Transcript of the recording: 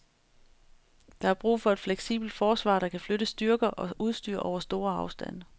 Der er brug for et fleksibelt forsvar, der kan flytte styrker og udstyr over store afstande.